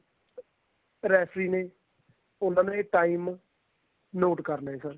referee ਨੇ ਉਹਨਾ ਨੇ time note ਕਰ ਲਿਆ ਇੱਧਰ